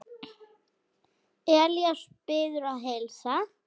Elías biður að heilsa.